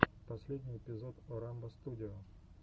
последний эпизод орамбо студио